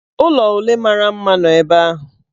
Ụlọ ole mara mma nọbu ebe ahụ?